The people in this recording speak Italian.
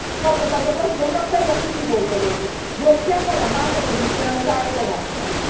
Faccio a tal proposito un appello a tutti voi, colleghi blocchiamo la macro condizionalità economica.